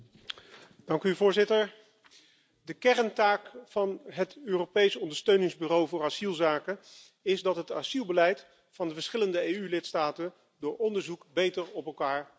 Voorzitter, de kerntaak van het Europees Ondersteuningsbureau voor asielzaken is dat het het asielbeleid van de verschillende EU lidstaten door onderzoek beter op elkaar afstemt.